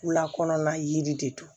Wulakɔnɔna yiri de don